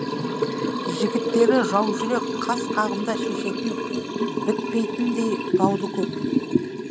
жігіттері жаужүрек қас қағымда шешетін бітпейтіндей дауды көп